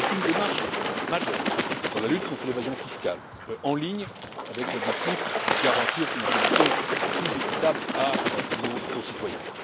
Il s'agit d'une démarche majeure dans la lutte contre l'évasion fiscale, en ligne avec l'objectif de garantir une imposition plus équitable à nos concitoyens.